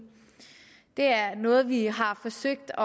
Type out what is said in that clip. det er noget vi har forsøgt